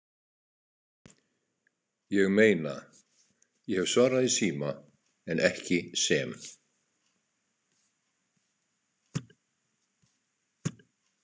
Ég meina, ég hef svarað í síma, en ekki sem